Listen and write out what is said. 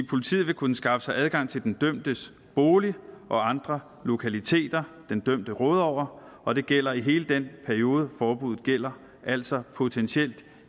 politiet vil kunne skaffe sig adgang til den dømtes bolig og andre lokaliteter den dømte råder over og det gælder hele den periode forbuddet gælder altså potentielt